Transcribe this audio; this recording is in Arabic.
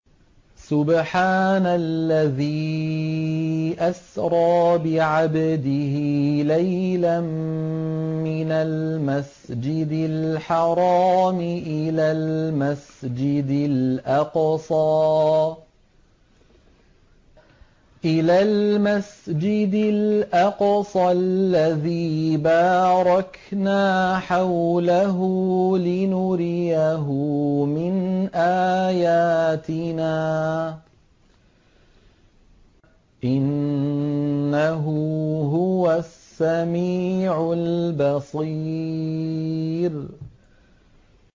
سُبْحَانَ الَّذِي أَسْرَىٰ بِعَبْدِهِ لَيْلًا مِّنَ الْمَسْجِدِ الْحَرَامِ إِلَى الْمَسْجِدِ الْأَقْصَى الَّذِي بَارَكْنَا حَوْلَهُ لِنُرِيَهُ مِنْ آيَاتِنَا ۚ إِنَّهُ هُوَ السَّمِيعُ الْبَصِيرُ